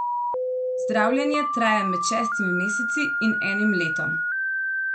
Zdravljenje traja med šestimi meseci in enim letom.